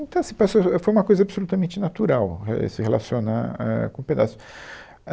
Então, assim, parece que foi, ãh, foi uma coisa absolutamente natural é, se relacionar é, com o pedaço.